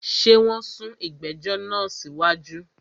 Ṣé wọn sún ìgbẹ̀jọ̀ náà sí wájú?